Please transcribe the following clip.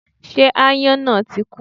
Ṣé aáyọ́n náà tí kú?